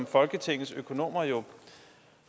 folketingets økonomer jo